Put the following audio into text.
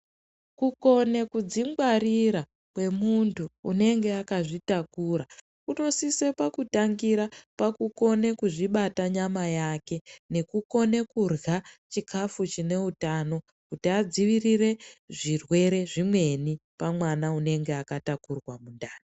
Kukone kudzingwarira kwemunthu unenge akadzitakura kunosise pakutangira pakukone kuzvibata nyama yake nekukone kurya zvikafu zvine utano, kuti adzivirire zvirwere zvimweni pamwana unenge akatakurwa mundani.